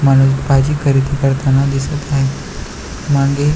म्हणुन भाजी खरेदी करताना दिसत आहे मागे--